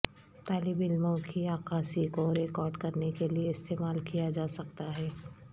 طالب علموں کی عکاسی کو ریکارڈ کرنے کے لئے استعمال کیا جا سکتا ہے